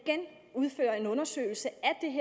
udføre en undersøgelse